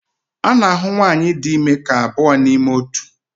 A na-ahụ nwanyị dị ime dị ka abụọ n'ime otu.